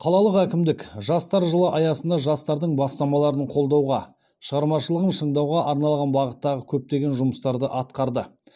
қалалық әкімдік жастар жылы аясында жастардың бастамаларын қолдауға шығармашылығын шыңдауға арналған бағыттағы көптеген жұмыстарды атқарды